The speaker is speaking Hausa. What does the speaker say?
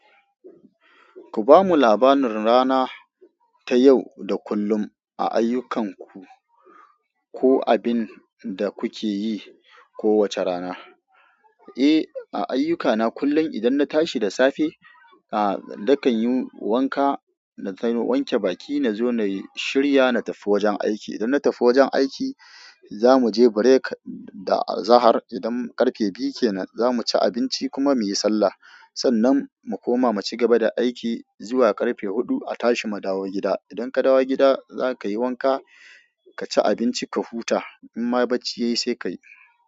Ku bamu labarin rana ta yau da kullum a ayyukanku, ko abin da kuke yi kowace rana. Eh, a aiyukana kullum idan na tashi da safe, aa nakan yi wanka, na wanke baki na zo na shirya na tafi wajen aiki. Idan na tafi wajen aiki, za mu je break da azahar idan karfe biyu kenan za mu ci abinci kuma mu yi sallah. Sannan mu koma mu cigaba da aiki zuwa karfe huɗu a tashi mu dawo gida. Idan ka dawo gida za ka yi wanka ka ci abinci ka huta. In ma bacci ya yi sai ka yi.